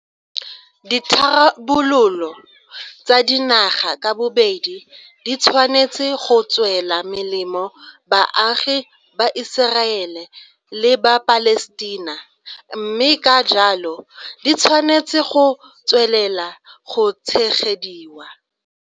Ditharabololo tsa dinaga ka bobedi di tshwanetse go tswela melemo baagi ba Iseraele le ba Palestina, mme ka jalo di tshwanetse go tswelela go tshegediwa.